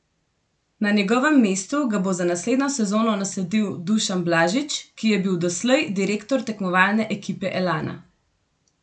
Na njegovem mestu ga bo za naslednjo sezono nasledil Dušan Blažič, ki je bil doslej direktor tekmovalne ekipe Elana.